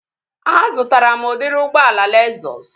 Azụtara m udịri ụgbọala Lezụs